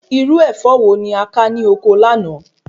Irú Ẹ̀fọ́ wo ni o ká ní ọkọ láàná?